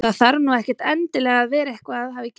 Það þarf nú ekkert endilega að vera að eitthvað hafi gerst.